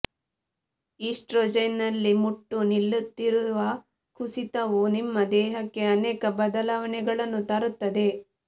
ಈಸ್ಟ್ರೊಜೆನ್ನಲ್ಲಿ ಮುಟ್ಟು ನಿಲ್ಲುತ್ತಿರುವ ಕುಸಿತವು ನಿಮ್ಮ ದೇಹಕ್ಕೆ ಅನೇಕ ಬದಲಾವಣೆಗಳನ್ನು ತರುತ್ತದೆ